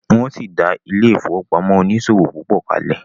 wón sí dá ile-ifowopamọ oniṣòwo pupo kale.